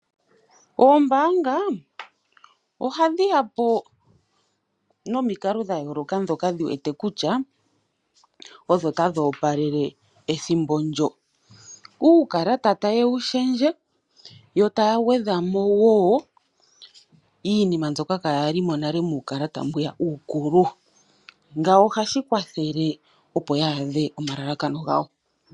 Ombaanga ohadhi ya po nomikalo dha yooloka ndhoka ye wete kutya odho tadhi opalele ethimbo ndyo. Uukalata taye wu lundulula yo taa gwedha mo shoka shaa mo opo ya adhe omalalakano gawo.